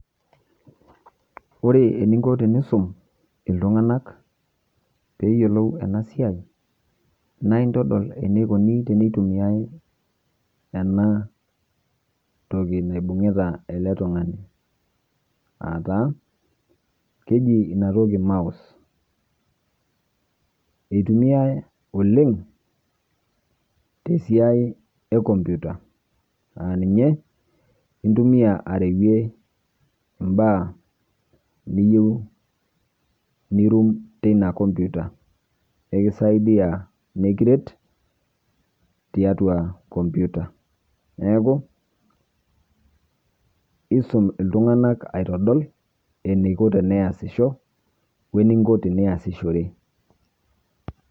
Ore eninko tenisum iltung'anak peeyolou ena siai naa intodol enikuni tenitumiai ena toki naibunkita ele tung'ani aa taa keji inatoki mouse. Itumiai oleng' te siai e komputa aa ninye intumia arewue mbaa niyeu nirum teina komputa, kekisaidia nekiret tiatua komputa. Neeku isum iltung'anak aitodol eniko teniasisho we eninko teniasishore.